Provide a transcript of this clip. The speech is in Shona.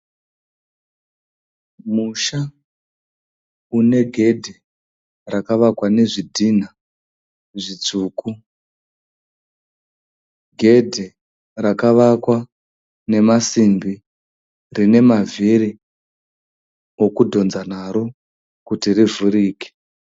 Musha une gedhi rakavakwa nezvidhina zvitsvuku. Gedhi rakavakwa nemasimbi rine mavhiri okudhonza naro kuti rivhurike.